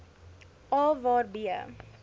a waar b